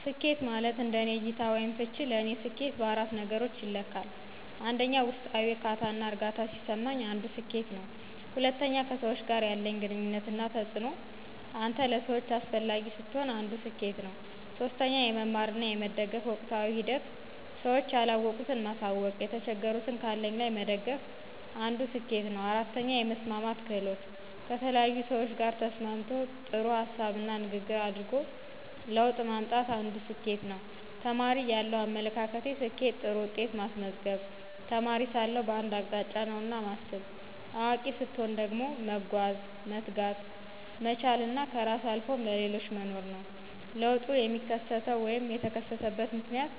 ስኬት ማለት እንደኔ እይታ /ፍች ለኔ ሰኬት በአራት ነገሮች ይለካል 1, ውስጣዊ ዕርካታና እርግአታ ሲሰማኝ አንዱ ስኬት ነው። 2, ከሰዎች ጋር ያለኝ ግንኙነት እና ተጽእኖ አንተ ለሰዎች አሰፈላጊ ስትሆን አንድ ሰኬት ነው። 3, የመማር እና የመደገፍ ወቅታዊ ሂደት ስዎች ያለወቁት ማሳውቅ የተቸገሩትን ካለኝ ላይ መደገፍ አንድ ስኬት ነው 4, የመስማማት ክህሎት: ከተለያዪ ሰዎች ጋር ተስማምቶ ጥሩ ሀሳብና ንግግር አድርጎ ለውጥ ማምጣት አንድ ስኬት ነው። ተማሪ እያለው አመለካከቴ፦ ስኬት ጥሩ ውጤት ማስመዝገብ, የተማሪ ሳለሁ በአንድ አቅጣጫ ነውና ማስብ። አዋቂ ሰትሆን ደግሞ መጓዝ፣ መትጋት፣ መቻል እና ከራስ አልፎም ለሌሎች መኖር ነው። ለውጡ የሚከሰተው /የተከሰተበት ምክንያት